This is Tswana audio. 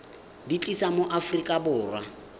di tlisa mo aforika borwa